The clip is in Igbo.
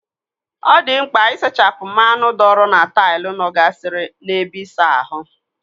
Ọ dị mkpa isachapụ mmanụ dọọrọ na taịlụ nọ gasịrị n'ebe ịsa ahụ.